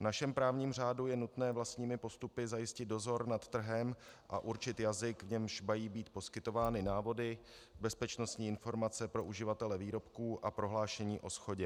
V našem právním řádu je nutné vlastními postupy zajistit dozor nad trhem a určit jazyk, v němž mají být poskytovány návody, bezpečnostní informace pro uživatele výrobků a prohlášení o shodě.